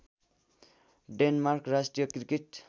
Denmark राष्ट्रिय cricket